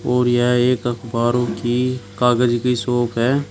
और यह एक अखबारों की कागज की शौप है।